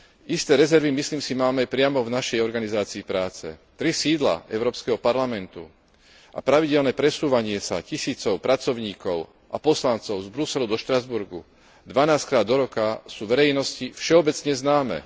Isté rezervy, myslím si, máme priamo v našej organizácii práce. Tri sídla Európskeho parlamentu a pravidelné presúvanie sa tisícov pracovníkov a poslancov z Bruselu do Štrasburgu dvanásťkrát do roka sú verejnosti všeobecne známe.